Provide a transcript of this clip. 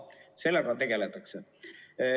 Sellega tegeldakse.